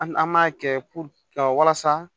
An an b'a kɛ ka walasa